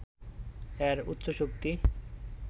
এর উচ্চ শক্তি